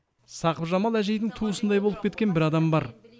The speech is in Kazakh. сақыпжамал әжейдің туысындай болып кеткен бір адам бар